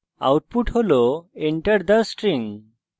এখানে এটি enter the string হিসাবে প্রদর্শিত হয়